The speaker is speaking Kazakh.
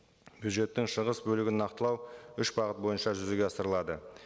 бюджеттің шығыс бөлігін нақтылау үш бағыт бойынша жүзеге асырылады